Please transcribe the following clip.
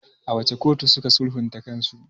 A wace kotu suka sulhunta kansu?